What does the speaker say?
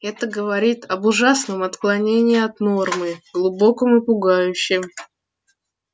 это говорит об ужасном отклонении от нормы глубоком и пугающем